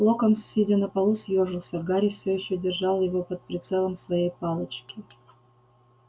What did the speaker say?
локонс сидя на полу съёжился гарри всё ещё держал его под прицелом своей палочки